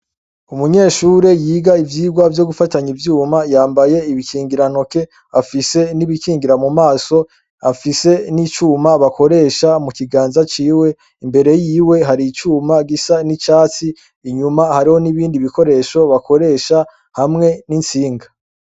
Umunyeshuri yiga ivyigwa vyo gufatanya ivyuma yambaye ibikingirantoke, afise n'ibikingira mu maso; afise n'icuma bakoresha mu kiganza ciwe. Imbere yiwe hari icuma gisa n'icatsi, inyuma hariho n'ibindi bikoresho bakoresha hamwe n'intsinga.